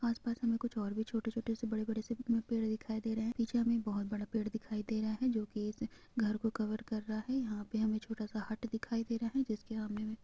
आस-पास हमे कुछ और भी छोटे-छोटे से बड़े-बड़े से पेड़ दिखाई दे रहें हैं पिछे हमे बहोत बड़ा पेड़ दिखाई दे रहा है जो की इस घर को कवर कर रहा है यहाँ पे हमे छोटा सा हट दिखाई दे रहा है जिसके सामने मे--